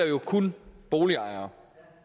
jo kun boligejere